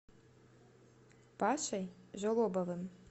пашей жолобовым